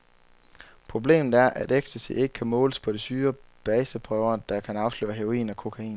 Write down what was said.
Problemet er, at ecstasy ikke kan måles på de syrebase prøver, der kan afsløre heroin og kokain.